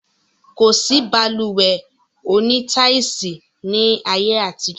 Kosi Balùwẹ́ òní táisì ni ayé àtijọ́